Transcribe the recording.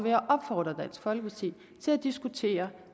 jeg opfordre dansk folkeparti til at diskutere